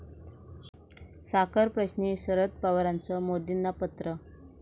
साखरप्रश्नी शरद पवारांचं मोदींना पत्र